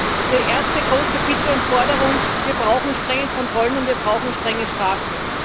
Daher die erste große Forderung Wir brauchen strenge Kontrollen, und wir brauchen strenge Strafen.